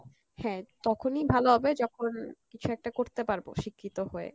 হ্যাঁ তখনি ভালো হবে যখন কিছু একটা করতে পারবো শিক্ষিত হয়ে